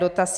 Dotaz.